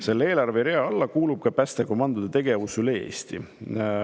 Sellelt eelarverealt ka päästekomandode tegevust üle Eesti.